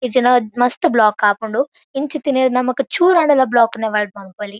ಇಜಿಂಡ ಮಸ್ತ್ ಬ್ಲಾಕ್ ಆಪುಂಡು ಇಂಚಿತ್ತಿನೆರ್ದ್ ನಮಕ್ ಚೂರಾಂಡಲ ಬ್ಲಾಕ್ ನ್ ಅವಾಯ್ಡ್ ಮನ್ಪೊಲಿ.